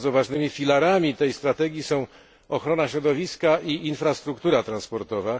Bardzo ważnymi filarami tej strategii są ochrona środowiska i infrastruktura transportowa.